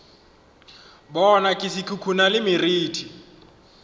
bona se khukhuna le meriti